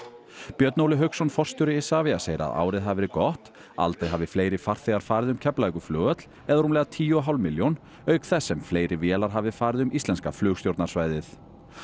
Björn Óli Hauksson forstjóri Isavia segir að árið hafi verið gott aldrei hafi fleiri farþegar farið um Keflavíkurflugvöll eða rúmlega tíu og hálf milljón auk þess sem fleiri vélar hafi farið um íslenska flugstjórnarsvæðið